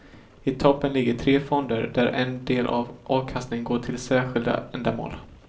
I toppen ligger tre fonder där en del av avkastningen går till särskilda ändamål.